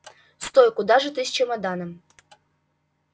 стой куда же ты с чемоданом